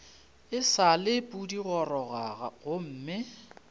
e sa le pudigoroga gomme